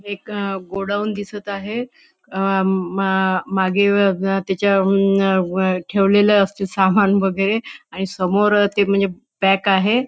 एक अ गोडाऊन दिसत आहे अ मागे अ त्याच्या अ ठेवलेल्या असत सामान वगैरे आणि समोर म्हणजे ते पॅक आहे.